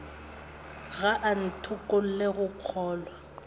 ga a ntokolle go kgolwa